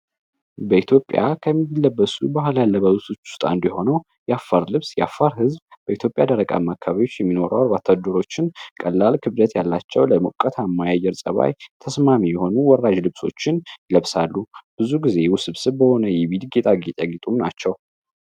በኢትዮጵያ ከሚለበሱ ባህላ ያለበ ውስች ስጣ እንዲሆነው የአፋር ልብስ የአፋር ህዝብ በኢትዮጵያ ደረቃምካቢዎች የሚኖራወር ባታድሮችን ቀላል ክብደት ያላቸው ለሞቀት አማያየር ጸባይ ተስማሚ የሆኑ ወራዥ ልብሶችን ይለብሳሉ ብዙ ጊዜ ውስብ ስብ በሆነ ይቪድ ጌጣ ጌጫግጡም ናቸው።